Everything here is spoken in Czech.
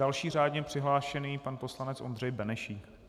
Další řádně přihlášený pan poslanec Ondřej Benešík.